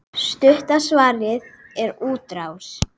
Stutta svarið er útrás.